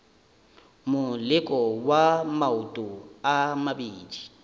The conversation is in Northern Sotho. moleko wa maoto a mabedi